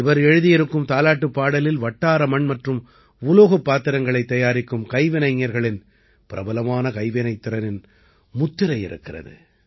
இவர் எழுதியிருக்கும் தாலாட்டுப் பாடலில் வட்டார மண் மற்றும் உலோகப் பாத்திரங்களைத் தயாரிக்கும் கைவினைஞர்களின் பிரபலமான கைவினைத்திறத்தின் முத்திரை இருக்கிறது